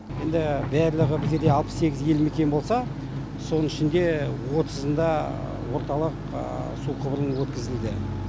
енді барлығы бізде де алпыс сегіз елді мекен болса соның ішінде отызында орталық су құбырын өткізілді